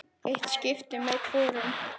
Eitt skipti með hvorum.